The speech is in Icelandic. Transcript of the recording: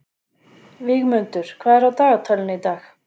Vígmundur, hvað er á dagatalinu í dag?